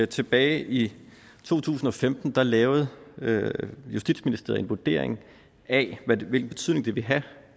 tilbage i to tusind og femten lavede justitsministeriet en vurdering af hvilken betydning det ville have